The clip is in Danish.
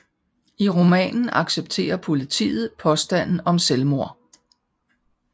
I romanen accepterer politiet påstanden om selvmord